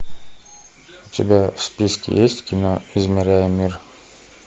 у тебя в списке есть кино измеряя мир